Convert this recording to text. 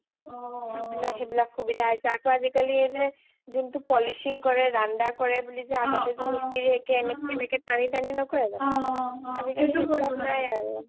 চব বিলাক সেই বিলাক সোবিধা হৈছে আকৈ আজিকালি এই যে জোনটো polishing কৰে ৰানদা কৰে বুলি যে আগতে যে Mistry এে যে টানি টানি নকৰে যানো আজিকালী সেইবিলাক নাই আৰু